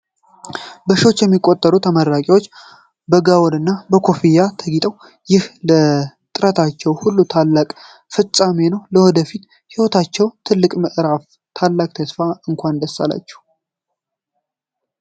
በሺዎች የሚቆጠሩ ተመራቂዎች በጋወንና በኮፍያ ተጊጠው! ይህ ለጥረታቸው ሁሉ ታላቅ ፍጻሜ ነው። ለወደፊት ህይወታቸው ትልቅ ምዕራፍና ታላቅ ተስፋ! እንኳን ደስ አላችሁ!